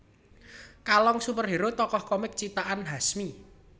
Kalong superhero tokoh komik ciptaan Hasmi